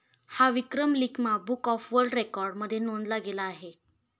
हा विक्रम 'Limca book of world record' मध्ये नोंदला गेला आहे.